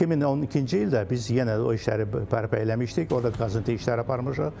2012-ci ildə biz yenə də o işləri bərpa eləmişdik, orda qazıntı işləri aparmışıq.